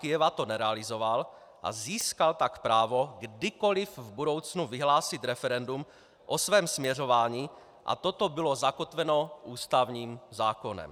Kyjeva to nerealizoval a získal tak právo kdykoli v budoucnu vyhlásit referendum o svém směřování a toto bylo zakotveno ústavním zákonem.